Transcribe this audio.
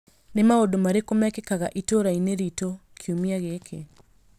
Nĩ maũndũ marĩkũ mekĩkaga itũũra-inĩ riitũ kiumia gĩkĩ?